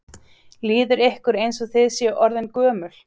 Líður ykkur eins og þið séu orðin gömul?